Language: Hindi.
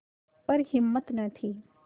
पर हिम्मत न थी